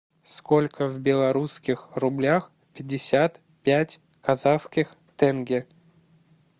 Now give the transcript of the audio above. сколько в белорусских рублях пятьдесят пять казахских тенге